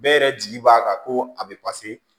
Bɛɛ yɛrɛ jigi b'a kan ko a bɛ